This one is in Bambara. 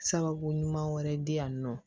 Sababu ɲuman wɛrɛ di yan nɔ